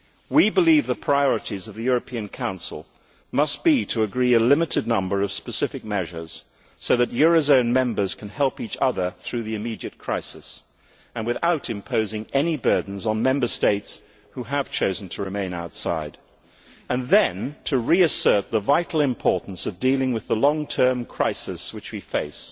We believe the priorities of the European Council must be to agree a limited number of specific measures, so that eurozone members can help each other through the immediate crisis without imposing any burdens on Member States who have chosen to remain outside, and then to reassert the vital importance of dealing with the long term crisis which we face